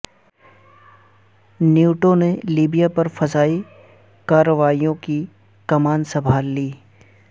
NATO نے Libya پر فضائی کارروائیوں کی کمان سنبھال لی